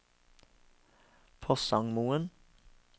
Porsangmoen